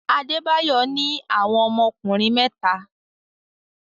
Adebayo ní àwọn ọmọkùnrin mẹ́ta.